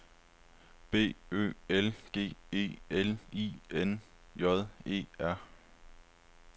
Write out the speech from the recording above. B Ø L G E L I N J E R